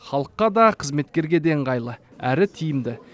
халыққа да қызметкерге де ыңғайлы әрі тиімді